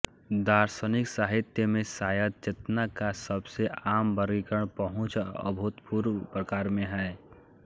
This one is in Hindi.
दार्शनिक साहित्य में शायद चेतना का सबसे आम वर्गीकरण पहुंच और अभूतपूर्व प्रकार में है